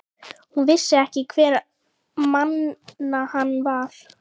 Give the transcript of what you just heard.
Hún vissi ekki hverra manna hann var.